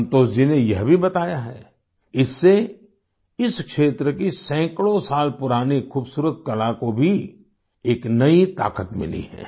संतोष जी ने यह भी बताया है इससे इस क्षेत्र की सैकड़ों साल पुरानी खूबसूरत कला को भी एक नई ताकत मिली है